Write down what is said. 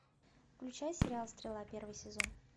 включай сериал стрела первый сезон